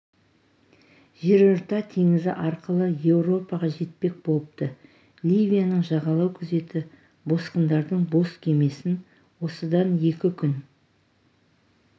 жерорта теңізі арқылы еуропаға жетпек болыпты ливияның жағалау күзеті босқындардың бос кемесін осыдан екі күн